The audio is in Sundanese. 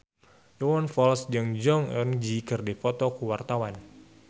Iwan Fals jeung Jong Eun Ji keur dipoto ku wartawan